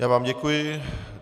Já vám děkuji.